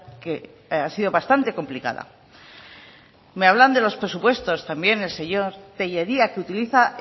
que ha sido bastante complicada me hablan de los presupuestos también el señor tellería que utiliza